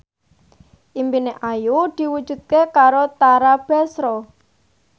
impine Ayu diwujudke karo Tara Basro